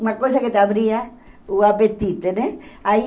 Uma coisa que te abria o apetite, né? Aí